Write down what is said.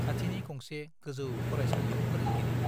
खाथिनि गंसे गोजौ फरायसालियाव फोरोंगिरि।